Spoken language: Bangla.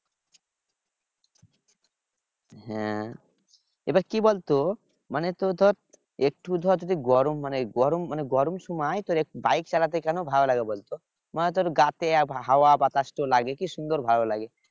হ্যাঁ এবার কি বলতো মানে তো ধর একটু ধর যদি গরম মানে গরম মানে গরম মানে সময় bike চালাতে কেন ভালো লাগে বলতো মানে তোর গা তে হাওয়া বাতাস তো লাগে কি সুন্দর ভালো লাগে